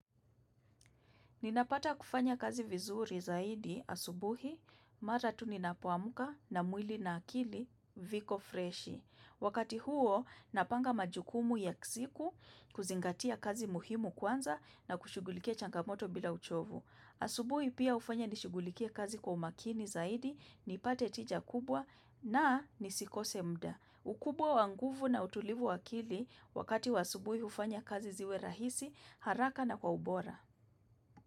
Ninapata kufanya kazi vizuri zaidi asubuhi mara tu ninapoamuka na mwili na akili viko freshi. Wakati huo napanga majukumu ya siku kuzingatia kazi muhimu kwanza na kushughulikia changamoto bila uchovu. Asubuhi pia hufanya nishugulikie kazi kwa umakini zaidi nipate tija kubwa na nisikose muda. Ukubwa wa nguvu na utulivu wa akili wakati wa asubuhi hufanya kazi ziwe rahisi haraka na kwa ubora.